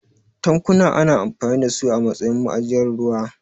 Tankuna ana amfani da su a matsayin ma'ajiyar ruwa.